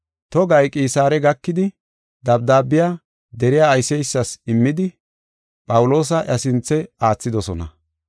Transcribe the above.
Togay Qisaare gakidi dabdaabiya deriya ayseysas immidi, Phawuloosa iya sinthe aathidosona.